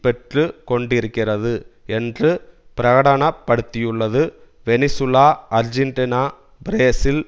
பெற்று கொண்டிருக்கிறது என்று பிரகடன படுத்தியுள்ளது வெனிசுலா ஆர்ஜென்டினா பிரேசில்